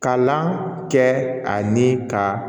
Kalan kɛ ani ka